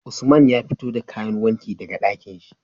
Usman ya fito da kayan wanki daka Ɗakinshi